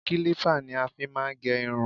Kílípà ni a fí má ń gẹ irun.